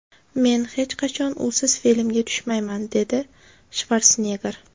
Men hech qachon usiz filmga tushmayman”, deydi Shvarsenegger.